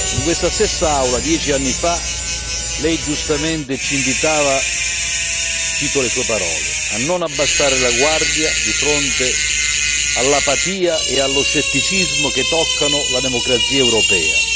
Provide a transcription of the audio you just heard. In questa stessa Aula, dieci anni fa, lei giustamente ci invitava cito le sue parole a non abbassare la guardia di fronte all'apatia e allo scetticismo che toccano la democrazia europea.